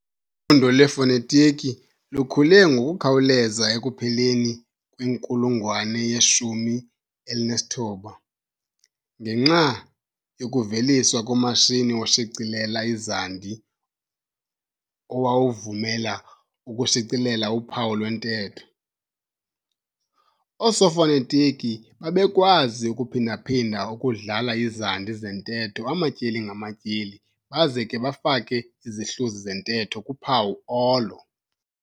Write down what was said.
Ufundo lwefonetiki lukhule ngokukhawuleza ekupheleni kwenkulungwane ye-19 ngenxa yokuveliswa komashini oshicilela izandi owawuvumela ukushicelela uphawu lwentetho. Oosofonetitiki babekwazi ukuphinda-phinda ukudlala izandi zentetho amatyeli ngamatyeli baze ke bafake izihluzi zentetho kuphawu olo.